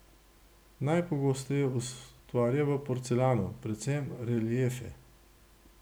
Najpogosteje ustvarja v porcelanu, predvsem reliefe.